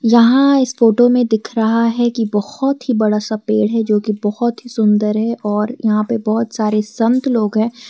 जहाँ इस फोटो में दिख रहा है कि बहुत ही बड़ा सा पेड़ है जोकि बहुत ही सुंदर है और यहां पे बहुत सारे संत लोग है।